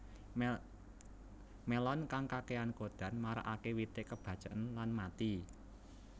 Melon kang kakéyan kodan marakaké wite kebaceken lan mati